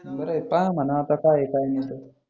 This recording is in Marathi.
बर आहे पाहा म्हणा आता काय काय म्हणते